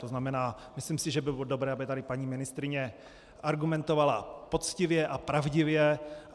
To znamená, myslím si, že by bylo dobré, aby tady paní ministryně argumentovala poctivě a pravdivě.